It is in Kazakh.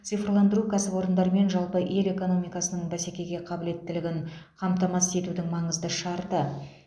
цифрландыру кәсіпорындар мен жалпы ел экономикасының бәсекеге қабілеттілігін қамтамасыз етудің маңызды шарты